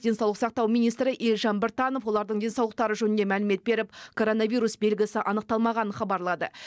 денсаулық сақтау министрі елжан біртанов олардың денсаулықтары жөнінде мәлімет беріп коронавирус белгісі анықталмағанын хабарлады